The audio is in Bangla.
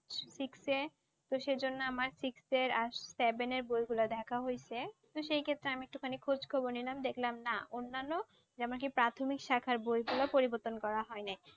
six এ তো সেজন্য আমার six এর আর seven এর বইগুলা দেখা হইছে। তো সেই ক্ষেত্রে আমি একটুখানি খোঁজ খবর নিলাম, দেখলাম না অন্যান্য যেমন কি প্রাথমিক সাখার বইগুলো পরিবর্তন করা হয় নাই।